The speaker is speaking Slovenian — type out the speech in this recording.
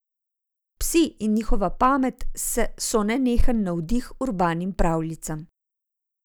Psi in njihova pamet so nenehen navdih urbanim pravljicam.